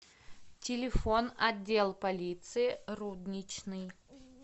телефон отдел полиции рудничный